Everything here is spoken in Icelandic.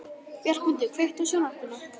Bjargmundur, kveiktu á sjónvarpinu.